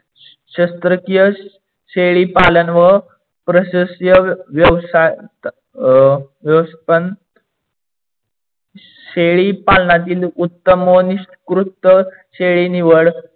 शस्त्रकीय शेडीपालन व प्रशस्य शेळीपालणातील उत्तमोनिकृष्ट शेळी निवड